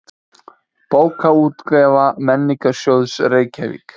Bókaútgáfa Menningarsjóðs, Reykjavík.